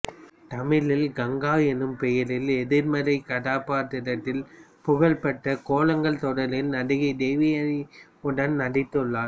தமிழில் கங்கா என்னும் பெயரில் எதிர்மறை கதாபாத்திரத்தில் புகழ்பெற்ற கோலங்கள் தொடரில் நடிகை தேவயானி உடன் நடித்துள்ளார்